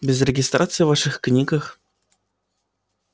без регистрации в ваших книгах